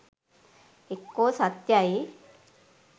එක්කෝ සත්‍යයි